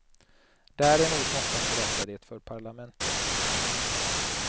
Däremot måste han berätta det för parlamentet.